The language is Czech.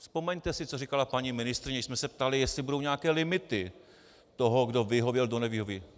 Vzpomeňte si, co říkala paní ministryně, když jsme se ptali, jestli budou nějaké limity toho, kdo vyhověl, kdo nevyhověl.